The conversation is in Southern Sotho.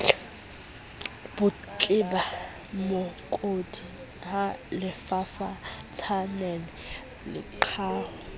botleba mookodi ha lefafatsanele qetaho